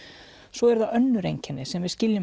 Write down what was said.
svo eru það önnur einkenni sem við skiljum